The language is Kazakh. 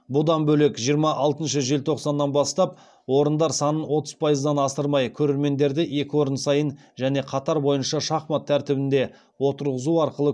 бұдан бөлек жиырма алтыншы желтоқсаннан бастап орындар санын отыз пайыздан асырмай көрермендерді екі орын сайын және қатар бойынша шахмат тәртібімен отырғызу арқылы